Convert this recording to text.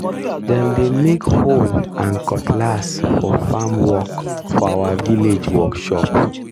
dem dey make hoe and cutlass for farm work for our village workshop.